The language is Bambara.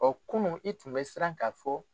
O kunun i tun bɛ siran k'a fɔ